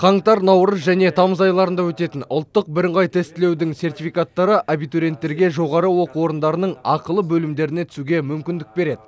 қаңтар наурыз және тамыз айларында өтетін ұлттық бірыңғай тестілеудің сертификаттары абитуриенттерге жоғары оқу орындарының ақылы бөлімдеріне түсуге мүмкіндік береді